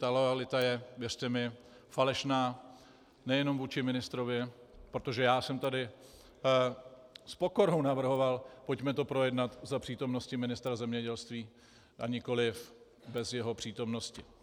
Ta loajalita je, věřte mi, falešná nejenom vůči ministrovi, protože já jsem tady s pokorou navrhoval, pojďme to projednat za přítomnosti ministra zemědělství, a nikoliv bez jeho přítomnosti.